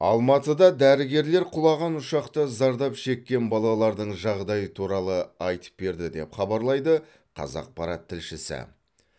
алматыда дәрігерлер құлаған ұшақта зардап шеккен балалардың жағдайы туралы айтып берді деп хабарлайды қазақпарат тілшісі